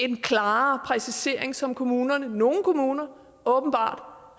en klarere præcisering som kommunerne nogle kommuner åbenbart